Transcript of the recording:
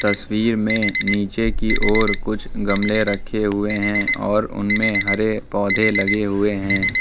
तस्वीर में नीचे की और कुछ गमले रखे हुए हैं और उनमें हरे पौधे लगे हुए हैं।